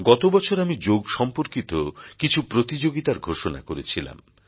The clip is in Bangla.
গত বছর আমি যোগ সম্পর্কিত কিছু প্রতিযোগিতার ঘোষণা করেছিলাম